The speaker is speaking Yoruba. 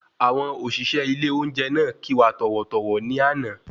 Àwọn òṣìṣẹ́ ilé olóúnjẹ náà kí wa tọ̀wọ̀-tọ̀wọ̀ ní àná